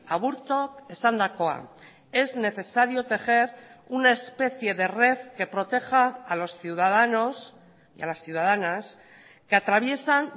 aburtok esandakoa es necesario tejer una especie de red que proteja a los ciudadanos y a las ciudadanas que atraviesan